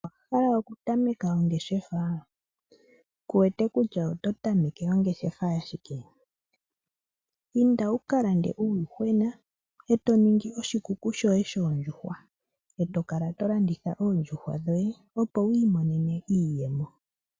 Owa hala okutameka ongeshefa? Ku wete kutya oto tameke ongeshefa yashike? Inda wu ka lande uuyuhwena e to ningi oshikuku shoye shoondjuhwa, e to kala to landitha oondjuhwa dhoye opo wi imonene iiyemo.